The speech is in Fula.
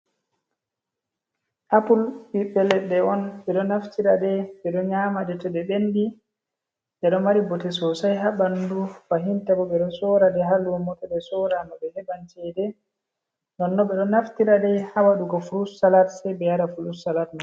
Apul ɓii leɗɗe on ɓe ɗo naftira, nden ɓe ɗo nyama nden to ɗe ɓendi ɗe ɗo mari bote sosai ha bandu, fahinta bo ɓe do sora de Ha lumo to ɗe sorama be heɓan cede, nonnon ɓe ɗo naftira dei ha waɗugo frut salat sai be yara fru salat mai.